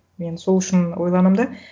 мен сол үшін ойланамын да